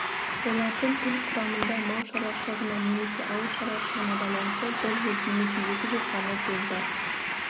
олардың тіл құрамында мал шаруашылығына немесе ауылшаруашылығына байланысты бір жүз немесе екі жүз ғана сөз бар